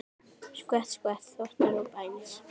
Skvett, skvett, þvottar og bænir.